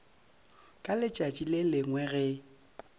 ka letšatši le lengwe ge